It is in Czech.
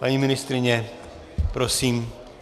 Paní ministryně, prosím.